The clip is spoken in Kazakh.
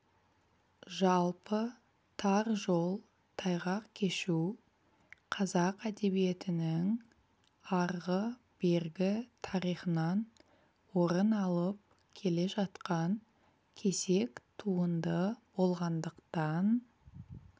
жалпы тар жол тайғақ кешу қазақ әдебиетінің арғы-бергі тарихынан орын алып келе жатқан кесек туынды болғандықтан